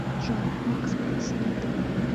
джой макс пояснит